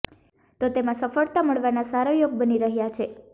તો તેમાં સફળતા મળવાના સારા યોગ બની રહ્યા છે